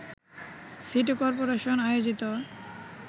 city corporation আয়োজিত